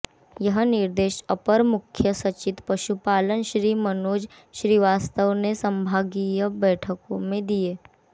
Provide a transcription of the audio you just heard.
यह निर्देश अपर मुख्य सचिव पशुपालन श्री मनोज श्रीवास्तव ने संभागीय बैठकों में दिए